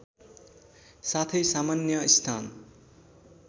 साथै सामान्य स्नान